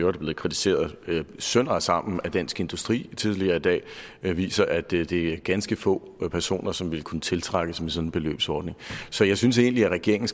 er blevet kritiseret sønder og sammen af dansk industri tidligere i dag viser at det det er ganske få personer som vil kunne tiltrækkes med sådan en beløbsordning så jeg synes egentlig at regeringen